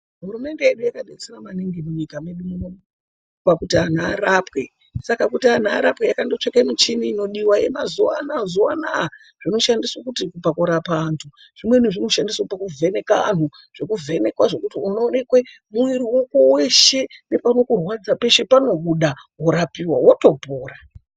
Hurumende yedu yakadetsera maningi munyika medu munomu pakuti anhu arapwe saka kuti anhu arapwe yakandotsvake michini inodiwa yemazuwa anaya zvinoshandiswa kuti pakurapa antu, imweni inoshandiswazve kuvheneka antu. Kuvhenekwa zvekuti inoonekwa muviri wako weshe nepanokurwadza peshe panobuda wotorapiwa wotopora.